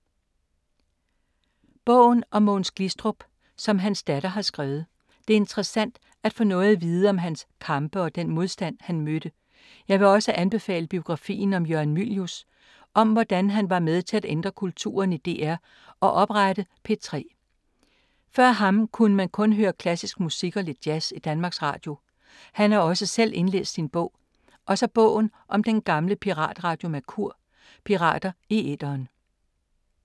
Bogen om Mogens Glistrup som hans datter har skrevet. Det er interessant at få noget at vide om hans kampe og den modstand, han mødte. Jeg vil også anbefale biografien om Jørgen Mylius, om hvordan han var med til at ændre kulturen i DR og oprette P3. Før ham kunne man kun høre klassisk musik og lidt jazz i Danmarks radio. Han har også selv indlæst sin bog. Og så bogen om den gamle piratradio Merkur, Pirater i æteren.